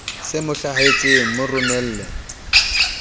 se mo hlahetseng mo romelle